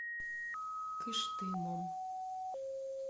кыштымом